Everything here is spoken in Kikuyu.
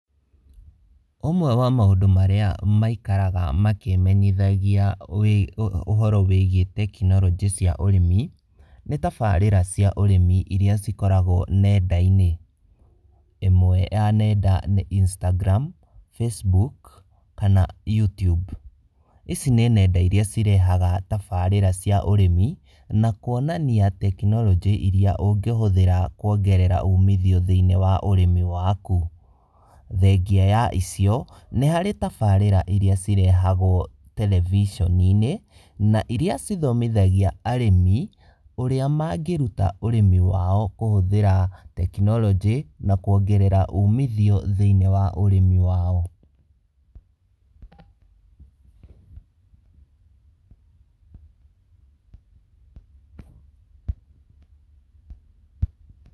Ũmwe wa maũndũ marĩa maikaraga makĩmenyithagia ũhoro wĩgie tekinoronjĩ cia ũrĩmi, nĩ tabarĩra cia ũrĩmi iria cikoragwo nenda-inĩ, ĩmwe ya nenda nĩ Instagram, Facebook kana Youtube. Ici nĩ nenda iria cirega tabarĩra cia ũrĩmi na kwonania tekinoronjĩ iria ũngĩhũthĩra kwongerera umithio thĩinĩ wa ũrĩmi waku, thengia ya icio nĩ harĩ, tabarĩra iria cirehagwo terebiceni-inĩ iria cithomithagia arĩmi ũrĩa mangĩruta ũrĩmi wao kũhũthĩra tekinoronjĩ na kwongerera umithio thĩinĩ wa ũrĩmi wao.